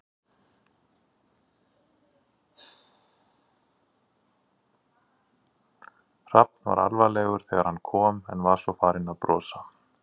Hrafn var alvarlegur þegar hann kom en var svo farinn að brosa.